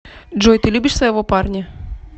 джой ты любишь своего парня